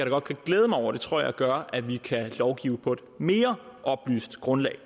godt kan glæde mig over det tror jeg gør at vi kan lovgive på et mere oplyst grundlag